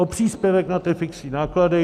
O příspěvek na ty fixní náklady.